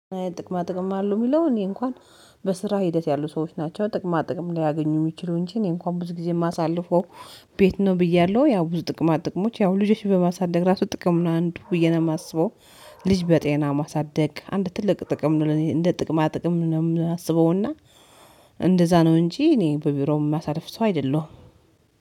ጥቅማ ጥቅም አሉ የሚለው እኔ እንኳን በስራ ሂደት ያሉ ሰዎች ናቸው ጥቅማ ጥቅም ሊያገኙ የሚችሉ እንጂ እኔ እንኳን ብዙ ጊዜ የማሳልፈው ቤት ነው ብያለሁ። ያው ብዙ ጥቅማ ጥቅሞች ያው ልጆች በማሳደግ ራሱ ጥቅም ነው አንዱ ብዬ ነው የማስበው። ልጅ በጤና ማሳደግ አንድ ትልቅ ጥቅም ነው እኔ እንደ ጥቅማ ጥቅም ነው የማስበው እና። እንደዛ ነው እንጂ እኔ በቢሮውም የማሳልፍ ሰው አይደለሁም።